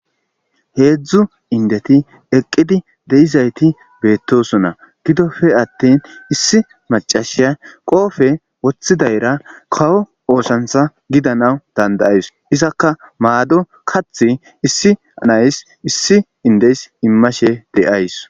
Heedzdzu indeti eqqidi deizayti beettosona gidofe attin issi macashiya qoofe woththidayra kawo oosantha gidanaw dandayays izakka maado kath issi anays issi indeys immashe de'ays.